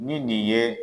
Ni nin ye